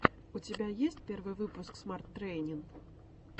у тебя есть первый выпуск смат трэйнин